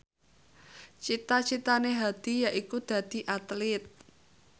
cita citane Hadi yaiku dadi Atlit